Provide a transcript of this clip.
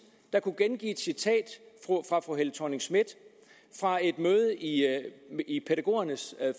der kunne gengive et citat fra fru helle thorning schmidt fra et møde i i pædagogernes